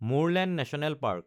Murlen national park